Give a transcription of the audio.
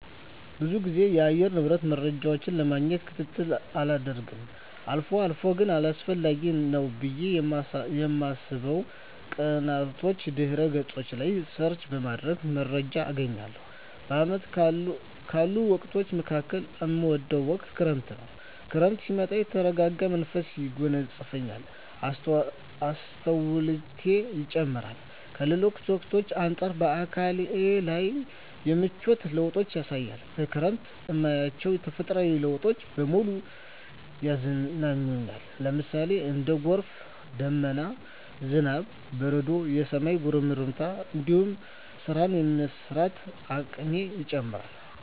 ብዙ ግዜ የአየር ንብረት መረጃን ለማግኘት ክትትል አላደርግም አልፎ አልፎ ግን አስፈላጊ ነው ብየ በማስብበት ቀናቶች ድህረ ገጾች ላይ ሰርች በማድረግ መረጃ አገኛለሁ። በአመቱ ካሉ ወቅቶች መካከል እምወደው ወቅት ክረምትን ነው። ክረምት ሲመጣ የተረጋጋ መንፈስ ያጎናጽፈኛል፣ አስተውሎቴ ይጨምራር፣ ከሌሎች ወቅቶች አንጻር በአካሌ ላይም የምቿት ለውጦችን ያሳያል፣ በክረምት እማያቸው ተፈጥሮአዊ ለውጦች በሙሉ ያዝናኑኛል ለምሳሌ:- እንደ ጎርፍ፣ ደመና፣ ዝናብ፣ በረዶ፣ የሰማይ ጉርምርምታ እንዲሁም ስራን የመስራት አቅሜ ይጨምራር